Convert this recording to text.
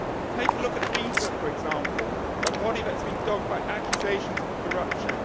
Take a look at FIFA, for example, a body that has been dogged by accusations of corruption